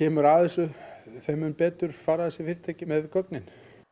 kemur að þessu þeim mun betur fara þessi fyrirtæki með gögnin